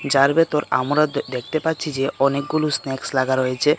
যার ভেতর আমরা দ-দেখতে পাচ্ছি যে অনেকগুলো স্ন্যাকস লাগা রয়েছে .